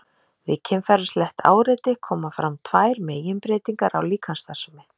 við kynferðislegt áreiti koma fram tvær meginbreytingar á líkamsstarfsemi